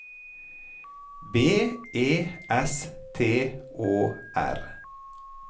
B E S T Å R